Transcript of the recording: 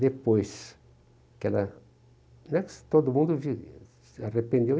Depois que ela... Não é que todo mundo vi se arrependeu.